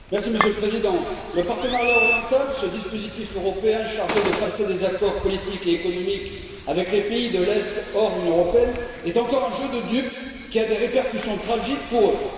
Monsieur le Président, le partenariat oriental, ce dispositif européen chargé de passer des accords politiques et économiques avec les pays de l'Est hors UE, est encore un jeu de dupe qui a des répercussions tragiques pour eux.